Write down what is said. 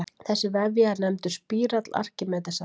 Þessi vefja er nefndur spírall Arkímedesar.